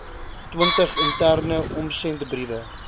twintig interne omsendbriewe